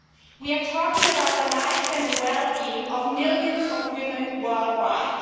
We are talking about the lives and the well being of millions of women worldwide.